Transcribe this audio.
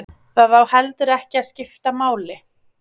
Það á heldur ekki að skipta máli